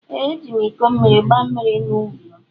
Ee ejim iko mmiri gba mmiri na ubi m.